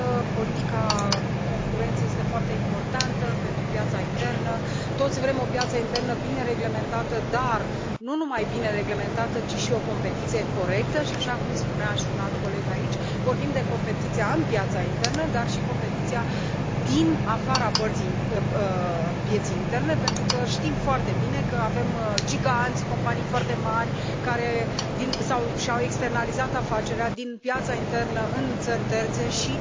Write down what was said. Politica concurenței este foarte importantă pentru piața internă, toți vrem o piață internă bine reglementată, dar nu numai bine reglementată, ci și cu o competiție corectă și așa cum spunea și un alt coleg aici vorbim de competiția în piața internă, dar și de competiția din afara pieței interne, pentru că știm foarte bine avem giganți, companii foarte mari, care și au externalizat afacerea din piața internă în țări terțe și